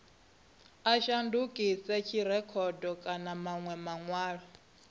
a shandukisa dzirekhodo kana manwe manwalo